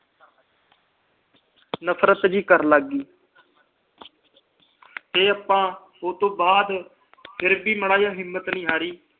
ਨਫਰਤ ਜਿਹੀ ਕਰਨ ਲੱਗ ਗਈ। ਤੇ ਆਪਾ ਉਹਤੋਂ ਬਾਅਦ ਫਿਰ ਵੀ ਮਾੜੀ ਜਿਹੀ ਹਿੰਮਤ ਨੀ ਹਾਰੀ।